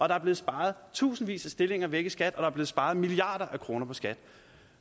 der er blevet sparet tusindvis af stillinger væk i skat og der er blevet sparet milliarder af kroner i skat